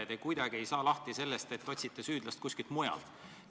Te kuidagi ei saa lahti sellest, et otsite süüdlast kuskilt mujalt.